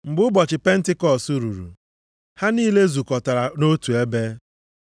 Mgbe ụbọchị Pentikọọsụ ruru, ha niile zukọtara nʼotu ebe.